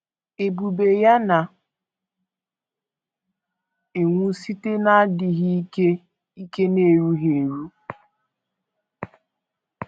Ebube ya na - enwu site n’adịghị ike ike na erughị eru. ”